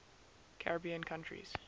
caribbean countries